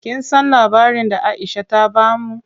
Kin san labarin da Aisha ta bamu?